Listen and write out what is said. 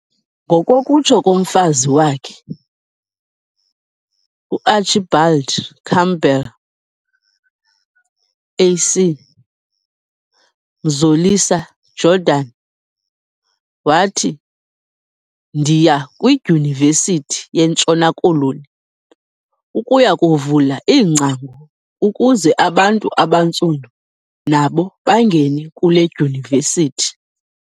Ngokokutsho kommfazi wakhe, uArchibald Campbell, AC, Mzolisa Jordan wathi "Ndiya kwidyunivesithi yeNtshona Koloni ukuya kuvula iingcango ukuze abantu abantsundu nabo bangene kule dyunivesithi.